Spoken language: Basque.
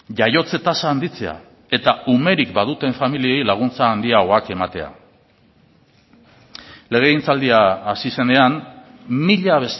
jaiotze tasa handitzea eta umerik baduten familiei laguntza handiagoak ematea legegintzaldia hasi zenean mila